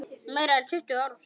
Meira en tuttugu árum síðar.